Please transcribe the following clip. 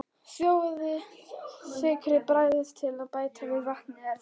Sjóðið, sykrið, bragðið til og bætið við vatni ef þarf.